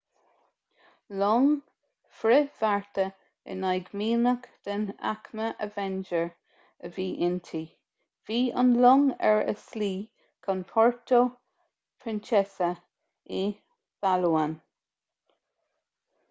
long frithbhearta in aghaidh mianach den aicme avenger a bhí inti bhí an long ar a slí chun puerto princesa i bpalawan